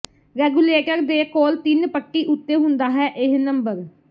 regulator ਦੇ ਕੋਲ ਤਿੰਨ ਪੱਟੀ ਉੱਤੇ ਹੁੰਦਾ ਹੈ ਇਹ ਨੰਬਰ